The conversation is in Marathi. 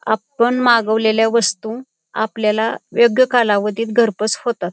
आपण मागवलेल्या वस्तु आपल्याला योग्य कालावधीत घरपोच होतात.